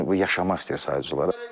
Bu yaşamaq istəyir sadəcə olaraq.